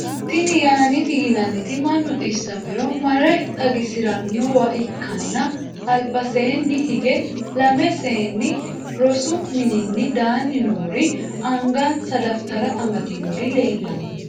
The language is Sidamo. tini yaaneeti yinanniti mannu dhissamiro mare xagisirannowa ikkanna albaseeni hige lamme seeni rosu mininni danni noori angansa dafitara amadinori leellanno.